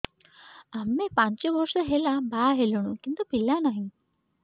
ଆମେ ପାଞ୍ଚ ବର୍ଷ ହେଲା ବାହା ହେଲୁଣି କିନ୍ତୁ ପିଲା ନାହିଁ